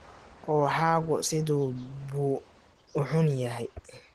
Ruuxaagu sidee buu u xun yahay?